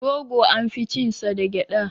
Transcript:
Rogo an fi cin sa da gyaɗa.